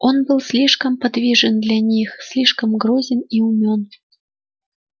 он был слишком подвижен для них слишком грозен и умён